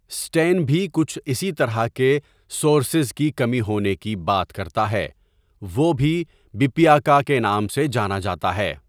Station بھی کچھ اسی طرح کے سورسیز کی کمی ہونے کی بات کرتا ہے، وہ بھی بپِیاکا کے نام سے جانا جاتا تھا۔